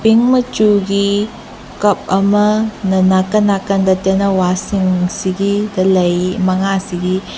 ꯄꯤꯡ ꯃꯆꯨꯒꯤ ꯀꯨꯞ ꯑꯃꯅ ꯅꯥꯀꯟ ꯅꯥꯀꯟꯗ ꯇꯦꯟꯅꯧꯋꯥ ꯁꯤꯡꯁꯤꯒꯤꯗ ꯂꯩ ꯃꯉꯥꯁꯤꯒꯤ꯫